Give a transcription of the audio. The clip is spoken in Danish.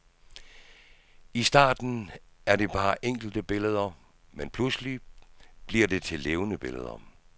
I starten er det bare enkelte billeder, men pludselig bliver det til levende billeder.